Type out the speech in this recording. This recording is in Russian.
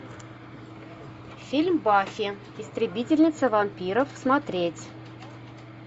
фильм баффи истребительница вампиров смотреть